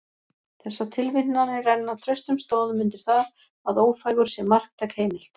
Þessar tilvitnanir renna traustum stoðum undir það, að Ófeigur sé marktæk heimild.